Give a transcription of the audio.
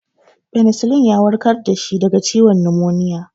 Penicillin ya warkar da shi daga ciwon numoniya.